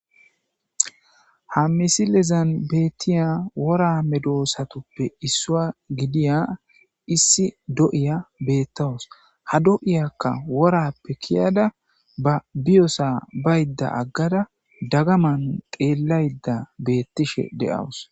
Ha misilezan beettiya wora medoosatuppe issua gidiya issi do7iya beettawus ha do7iyakka worappe kiyada ba biyosa baydda aggada dagaman xeellayda beettishe de'awus.